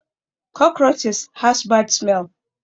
Cockroaches has bad smell